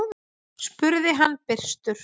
spurði hann byrstur.